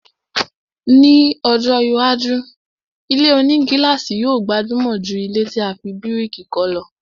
Ni ọjọ́ iwájú, ilé-onígílàsì yóò gbajúmọ̀ jù ilẹ́ tí a fi bíríkì kọ́ lọ